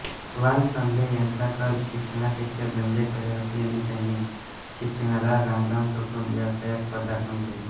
वालचंद यांचा कल शिक्षणापेक्षा धंद्याकडे असल्याने त्यांनी शिक्षणाला रामराम ठोकून व्यवसायात पदार्पण केले